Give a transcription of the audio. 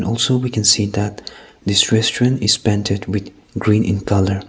also we can see that this restaurant is painted with green in colour.